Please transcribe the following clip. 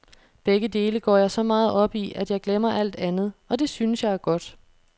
Begge dele går jeg så meget op i, at jeg glemmer alt andet, og det synes jeg er godt.